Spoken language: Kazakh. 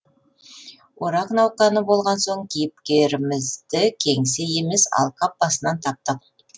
орақ науқаны болған соң кейіпкерімізді кеңсе емес алқап басынан таптық